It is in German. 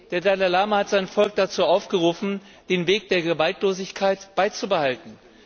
Der Dalai Lama hat sein Volk dazu aufgerufen, den Weg der Gewaltlosigkeit beizubehalten.